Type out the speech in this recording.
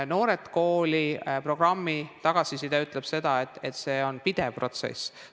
Noored Kooli programmi tagasiside ütleb, et see on pidev protsess.